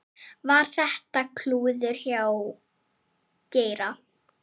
Var þetta klúður hjá Geira?